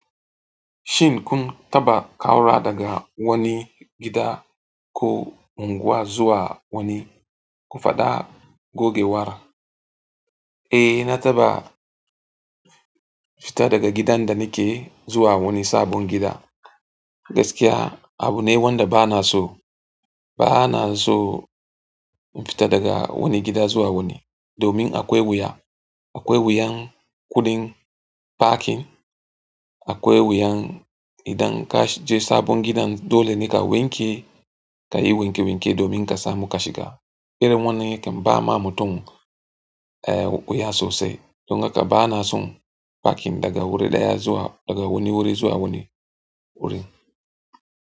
Shin kun taɓa ƙaura daga wani gida ko unguwa zuwa wani? Ku faɗa gogewar. Eh, na taɓa fita daga gidan da nike zuwa wani sabon gida. Gaskiya abu ne wanda bana so. Bana so in fita daga wani gida zuwa wani domin akwai wuya. Akwai wuyan kuɗin ɗakin, akwai wuyan idan kaje sabon gidan dole ne ka wanke, kayi wanke-wanke domin ka samu ka shiga. Irin wannan yakan bama mutum wuya sosai don haka bana son parking daga wuri ɗaya zuwa daga wani wuri zuwa wani wuri.